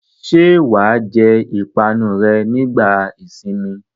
Ṣé wà á jẹ ìpanu rẹ nígbà ìsìnmi?